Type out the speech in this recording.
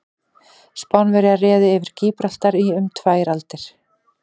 Spánverjar réðu yfir Gíbraltar í um tvær aldir.